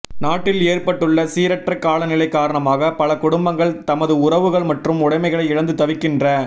நாட்டில் ஏற்ப்பட்டுள்ள சீரற்ற காலநிலை காரணமாக பல குடும்பங்கள் தமது உறவுகள் மற்றும் உடமைகளை இழந்து தவிக்கின்ற